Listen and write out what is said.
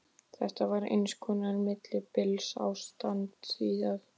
Þetta var eins konar millibilsástand, því að